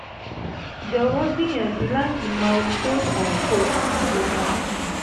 jọ̀wọ́ gbìyànjú láti mọ ohun tó fà á kó o sì sì yẹra fún un